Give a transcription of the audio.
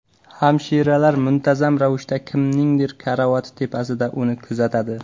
Hamshiralar muntazam ravishda kimningdir karavoti tepasida uni kuzatadi.